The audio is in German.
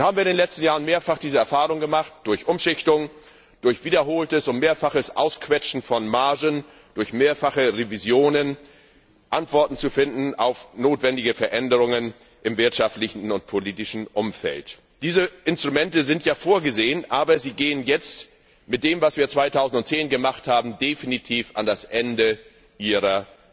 Nun haben wir in den letzten Jahren mehrfach die Erfahrung gemacht, durch Umschichtung, durch wiederholtes und mehrfaches Ausquetschen von Margen, durch mehrfache Revisionen Antworten auf notwendige Veränderungen im wirtschaftlichen und politischen Umfeld zu finden. Diese Instrumente sind ja vorgesehen, aber sie kommen jetzt mit dem, was wir 2010 gemacht haben, definitiv an das Ende ihrer